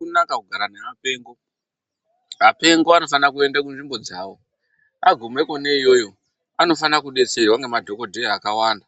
Azvina kunaka kugara nevapengo, apengo anofana kuenda kunzvimbo dzawo agume kone iyoyo anofana kubetserwa ngema dhokodheya akawanda.